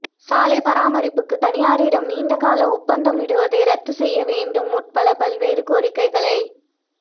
சாலை பராமரிப்புக்கு தனியாரிடம் நீண்ட கால ஒப்பந்தம் விடுவதை ரத்து செய்ய வேண்டும் உட்பட பல்வேறு கோரிக்கைகளை